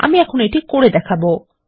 আমি এখন এইটি করে দেখাবো